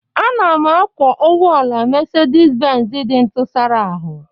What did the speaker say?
Ana m akwọ ụgbọ ala Mercedes Benz dị ntụsara ahụ